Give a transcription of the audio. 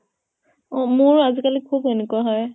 অʼ । মোৰো আজিকালি খুব এনেকুৱা হয় ।